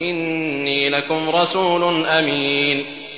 إِنِّي لَكُمْ رَسُولٌ أَمِينٌ